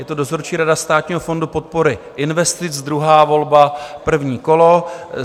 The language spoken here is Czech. Je to dozorčí rada Státního fondu podpory investic, druhá volba, první kolo.